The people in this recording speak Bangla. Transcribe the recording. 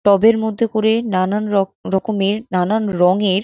টবের মধ্যে করে নানান রক রকমের নানান রঙের।